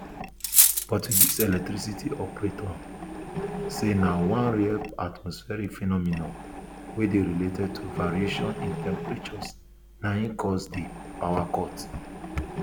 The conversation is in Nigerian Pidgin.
portuguese electricity operator say na one rare atmospheric phenomenon wey dey related to variations in temperatures na im cause di power cut